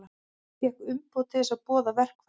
Fékk umboð til að boða verkfall